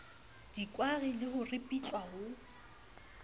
dikwari le ho ripitlwa ha